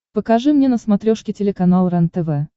покажи мне на смотрешке телеканал рентв